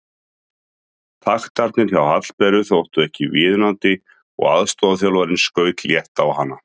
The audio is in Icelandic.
Taktarnir hjá Hallberu þóttu ekki viðunandi og aðstoðarþjálfarinn skaut létt á hana.